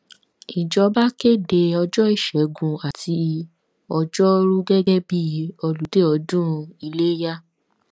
ìjọba kéde ọjọ ìṣẹgun àti ọgọrùú gẹgẹ bíi olùdé ọdún ilẹyà